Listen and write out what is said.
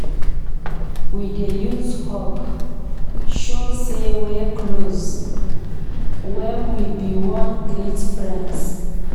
We dey use hug show sey wey close wen we bin wan greet friends.